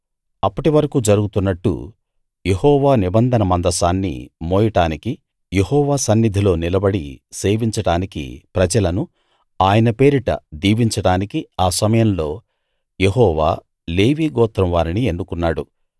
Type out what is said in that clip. అప్పటి వరకూ జరుగుతున్నట్టు యెహోవా నిబంధన మందసాన్ని మోయడానికి యెహోవా సన్నిధిలో నిలబడి సేవించడానికి ప్రజలను ఆయన పేరిట దీవించడానికి ఆ సమయంలో యెహోవా లేవీ గోత్రం వారిని ఎన్నుకున్నాడు